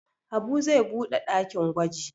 Habu zai buɗe ɗakin gwaji.